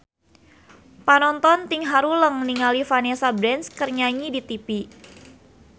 Panonton ting haruleng ningali Vanessa Branch keur nyanyi di tipi